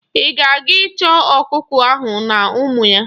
Ị ga-aga chọọ ọkụkọ ahụ na ụmụ ya!